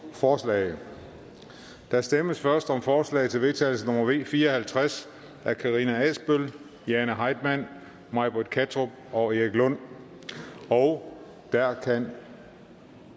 forslag der stemmes først om forslag til vedtagelse nummer v fire og halvtreds af karina adsbøl jane heitmann may britt kattrup og erik lund og der kan